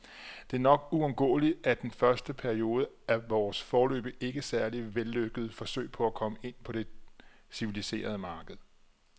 Det er nok uundgåeligt i den første periode af vores, foreløbig ikke særlig vellykkede, forsøg på at komme ind på det civiliserede marked.